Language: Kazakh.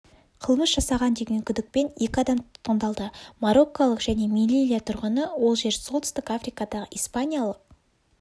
қылмыс жасаған деген күдікпен екі адам тұтқындалды мароккалық және мелильия тұрғыны ол жер солтүстік африкадағы испаниялық